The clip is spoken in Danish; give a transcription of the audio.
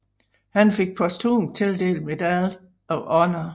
Han fik posthumt tildelt Medal of Honor